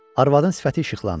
Arvadın sifəti işıqlandı.